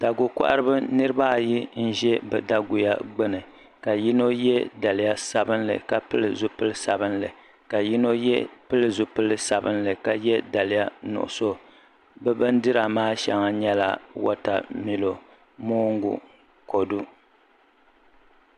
Daguli koharibi niraba ayi n ʒɛ bi daguya gbuni ka yino yɛ daliya sabinli ka pili zipili sabinli ka yino pili zipili sabinli ka yɛ daliya nuɣso bi bindira maa shɛŋa nyɛla wotamilo moongu ni kodu